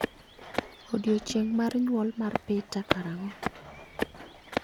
Odiechieng' mar nyuol mar Peter karang'o?